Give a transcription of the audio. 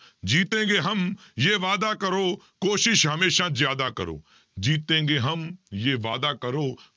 ਜੀਤੇਂਗੇ ਹਮ ਯੇ ਵਾਦਾ ਕਰੋ, ਕੋਸ਼ਿਸ਼ ਹਮੇਸ਼ਾ ਜ਼ਿਆਦਾ ਕਰੋ, ਜੀਤੇਂਗੇ ਹਮ ਯੇ ਵਾਦਾ ਕਰੋ,